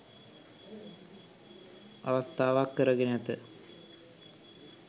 අවස්ථාවක් කරගෙන ඇත